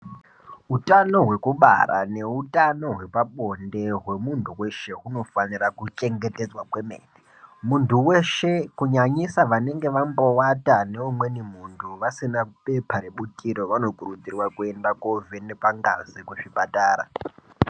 Utano hwekubara neutano hwepabonde hwemuntu weshe hunofanira kuchengetedzwa kwemene. Muntu weshe kunyanyisa vanenge vamboata neumweni muntu vasina bepa rebutiro vanokurudzirwa kuenda kovhebekwa ngazi kuzvipatara.